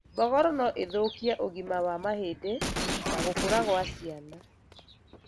Mbogoro noithũkie ũgima wa mahĩndĩ na gũkũra gwa ciana